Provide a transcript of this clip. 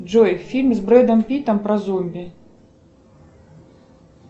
джой фильм с бредом питом про зомби